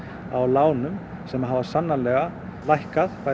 á lánum sem hafa sannarlega lækkað